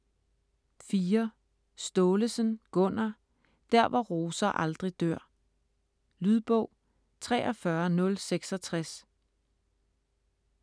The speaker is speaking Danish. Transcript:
Staalesen, Gunnar: Der hvor roser aldrig dør Lydbog 43066